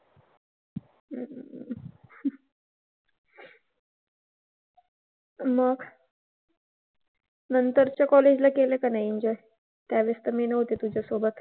मग नंतरच्या college ला केले का नाही enjoy? त्यावेळेस तर मी नव्हते तुझ्यासोबत.